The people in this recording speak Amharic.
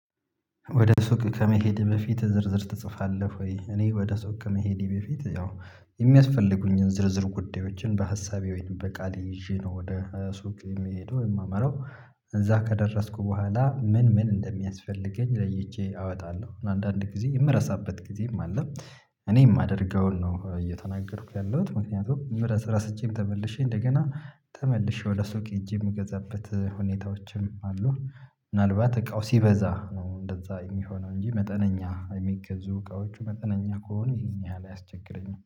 ወደ ሱቅ ከመሄድህ በፊት ዝርዝር ትጽፋለህ? ወይ እኔ ወደ ሱቅ ከመሄድ በፊት ያው የሚያስፈልጉኝን ዝርዝር ጉዳዮችን በሀሳቤ ወይም በቃሌ ይዤ ነው ወደ ሱቅ የሚሄደው የማመራው። እዛ ከደረስኩ በኋላ ምን ምን እንደሚያስፈልገኝ ለይቼ አወጣለሁ አንዳንድ ጊዜ የምረሳበት ጊዜም አለ። እኔ አማደርገውን ነው እየተናገርኩ ያለሁት ምክንያቱም ረስቼም ተመልሼ እንደገና ተመልሼ ወደ ሱቅ ሄጄ የምገዛበት ሁኔታዎችም አሉ። ምናልባት እቃው ሲበዛ ነው እንደዛ የሚሆነው እንጂ መጠነኛ የሚገዙ እቃዎቹ መጠነኛ ከሆነ ይህን ያህል አያስቸግረኝም